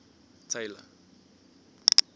tailor